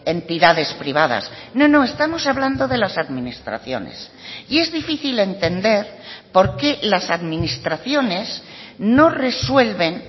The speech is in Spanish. entidades privadas no no estamos hablando de las administraciones y es difícil entender por qué las administraciones no resuelven